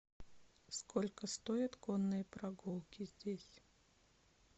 сколько стоят конные прогулки здесь